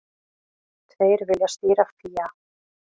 Tveir vilja stýra FÍA